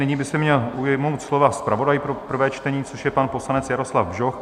Nyní by se měl ujmout slova zpravodaj pro prvé čtení, což je pan poslanec Jaroslav Bžoch.